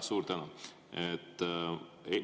Suur tänu!